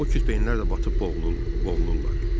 o kütbeyinlər də batıb boğulurlar.